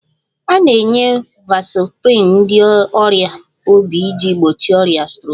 A na-enye vasoprin ndị ọrịa obi iji gbochie ọrịa strok